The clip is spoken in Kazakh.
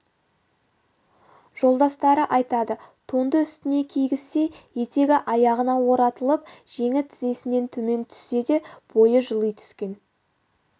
жолдастары айтады тонды үстіне кигізсе етегі аяғына оратылып жеңі тізесінен төмен түссе де бойы жыли түскен